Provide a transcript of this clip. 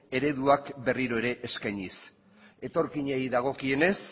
ereduak berri ere eskainiz etorkinei dagokienez